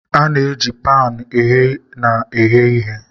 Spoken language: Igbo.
A na-eji panu ogheye na eghe nri.